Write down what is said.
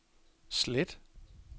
slet